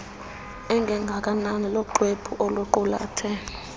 engengakanani luxwebhu oluqulethe